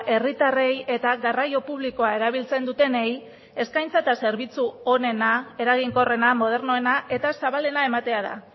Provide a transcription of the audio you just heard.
herritarrei eta garraio publikoa erabiltzen dutenei eskaintza eta zerbitzu onena eraginkorrena modernoena eta zabalena ematea da